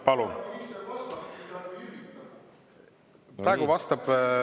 Palun!